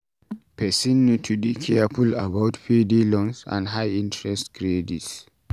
Person need to dey careful about payday loans and high interest credit